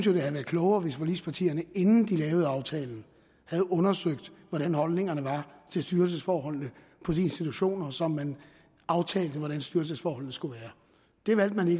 ville have været klogere hvis forligspartierne inden de lavede aftalen havde undersøgt hvordan holdningerne var til styrelsesforholdene på de institutioner som man aftalte med hvordan styrelsesforholdene skulle være det valgte man